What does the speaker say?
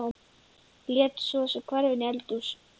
Lét sig svo hverfa inn í eldhús.